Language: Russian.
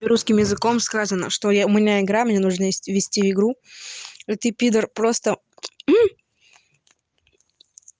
русским языком сказано что я у меня игра мне нужно вести вести игру и ты пидор просто